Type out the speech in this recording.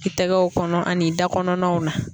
I tɛgɛw kɔnɔ ani i da kɔnɔna na